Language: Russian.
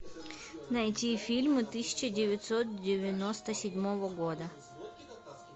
найти фильмы тысяча девятьсот девяносто седьмого года